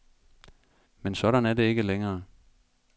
Men sådan er det ikke længere.